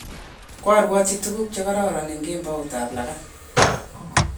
koaruotyi tuguk che kararan eng' kemoutab lagat